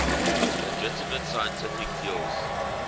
legitimate scientific fields